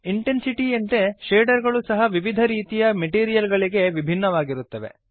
ಇಂಟೆನ್ಸಿಟೀಯಂತೆ shader ಗಳು ಸಹ ವಿವಿಧ ರೀತಿಯ ಮೆಟೀರಿಯಲ್ ಗಳಿಗೆ ವಿಭಿನ್ನವಾಗಿರುತ್ತವೆ